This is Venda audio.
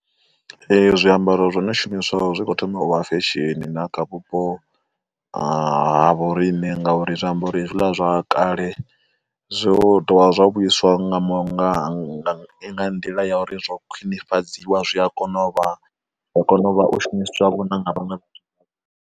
Ee zwiambaro zwo no shumiswaho zwi kho thoma uvha fesheni na kha vhupo ha vho riṋe ngauri zwi ambaro he zwiḽa zwa kale zwo tovha zwa vhuiswa nga mushonga nga nḓila ya uri zwo khwinifhadziwa zwi a kona u vha a kona u shumiswa vhona na nga vhaṅwe vha .